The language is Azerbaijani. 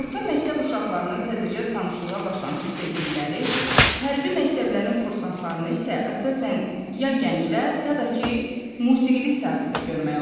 Orta məktəb uşaqlarını, təzəcə tanışlığa başlamış sevgililəri, hərbi məktəblərin kursantlarını isə əsasən ya gənclər, ya da ki, musiqili teatrda görmək olardı.